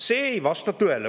See ei vasta tõele.